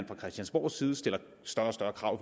fra christiansborgs side stiller større og større krav